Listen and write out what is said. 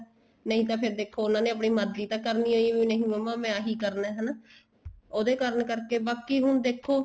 ਨਹੀਂ ਤਾਂ ਫ਼ੇਰ ਦੇਖੋ ਉਹਨਾ ਨੇ ਆਪਣੀ ਮਰਜੀ ਤਾਂ ਕਰਣੀ ਏ ਨਹੀਂ ਮੰਮਾ ਮੈਂ ਆਹੀ ਕਰਣਾ ਹੈਨਾ ਉਹਦੇ ਕਾਰਨ ਕਰਕੇ ਬਾਕੀ ਹੁਣ ਦੇਖੋ